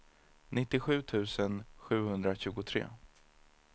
nittiosju tusen sjuhundratjugotre